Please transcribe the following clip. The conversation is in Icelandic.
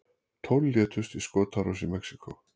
Tólf létust í skotárás í Mexíkó